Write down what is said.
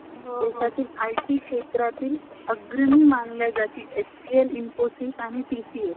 देशातील IT क्षेत्रातील अग्रही मानलेल्या HCL , INFOSYS आणि TCS